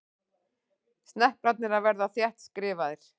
Sneplarnir að verða þéttskrifaðir.